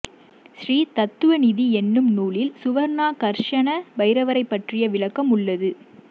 ஸ்ரீதத்துவநிதி என்னும் நூலில் சுவர்ணாகர்ஷண பைரவரைப் பற்றிய விளக்கம் உள்ளது